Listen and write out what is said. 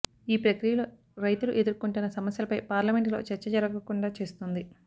ఈ ప్రక్రియలో రైతులు ఎదుర్కొంటున్న సమస్యలపై పార్లమెంటులో చర్చ జరగకుండా చేస్తోంది